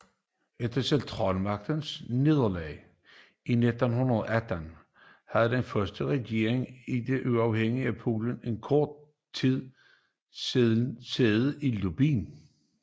Efter Centralmagternes nederlag i 1918 havde den første regering i det uafhængige Polen kort tid sæde i Lublin